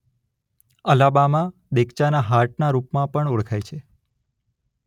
Alabama દેગચાના હાર્ટના રૂપમાં પણ ઓળખાય છે.